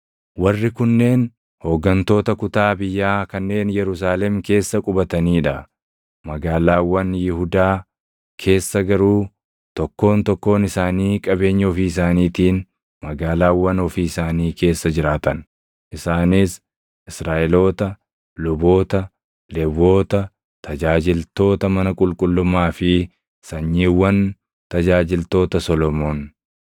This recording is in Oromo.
Warri kunneen hooggantoota kutaa biyyaa kanneen Yerusaalem keessa qubatanii dha; magaalaawwan Yihuudaa keessa garuu tokkoon tokkoon isaanii qabeenya ofii isaaniitiin magaalaawwan ofii isaanii keessa jiraatan; isaanis: Israaʼeloota, luboota, Lewwota, tajaajiltoota mana qulqullummaa fi sanyiiwwan tajaajiltoota Solomoon;